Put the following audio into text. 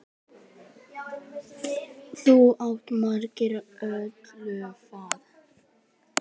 Þú áttir svo margt ólifað.